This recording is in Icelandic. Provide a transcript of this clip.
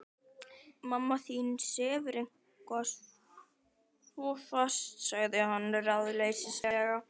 Mamma þín sefur eitthvað svo fast sagði hann ráðleysislega.